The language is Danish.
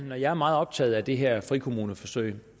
når jeg er meget optaget af det her frikommuneforsøg